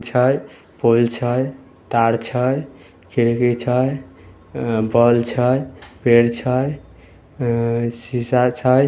pole छै तार छै खिड़की छैबोल छै पेड़ छै शीशा छै